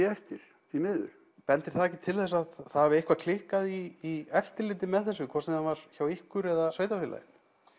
eftir því miður bendir það ekki til þess að það hafi eitthvað klikkað í eftirliti með þessu hvort það sem var hjá ykkur eða sveitarfélaginu